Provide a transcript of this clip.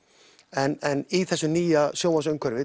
en í þessu nýja